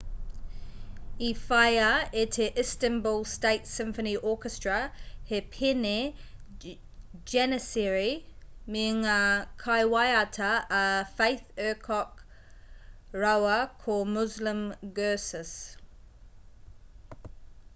i whāia e te istanbul state symphony orchestra he pēne janissary me ngā kaiwaiata a fatih erkoc rāua ko muslum gurses